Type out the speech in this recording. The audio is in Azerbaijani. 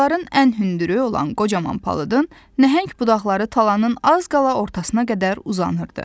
Ağacların ən hündürü olan qocaman palıdın nəhəng budaqları talanın az qala ortasına qədər uzanırdı.